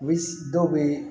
U bɛ dɔw bɛ